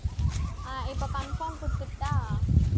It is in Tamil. அஹ் இப்ப confirm குடுத்தருட்டா